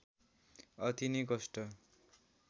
अति नै कष्ट